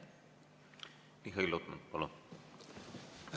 Mihhail Lotman, palun!